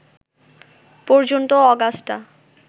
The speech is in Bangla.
পর্যন্ত অগাস্টা